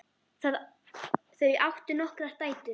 Þau áttu nokkrar dætur.